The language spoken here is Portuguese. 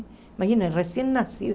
Imagina, recém-nascido.